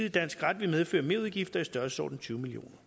i dansk ret vil medføre merudgifter i størrelsesordenen tyve million